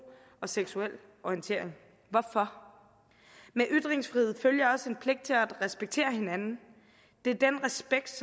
og seksuel orientering hvorfor med ytringsfriheden følger også en pligt til at respektere hinanden det er den respekt